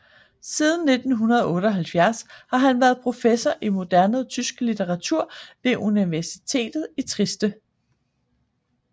Siden 1978 har han været professor i moderne tysk litteratur ved universitetet i Trieste